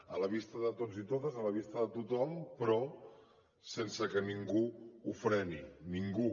a la vista de tots i totes a la vista de tothom però sense que ningú ho freni ningú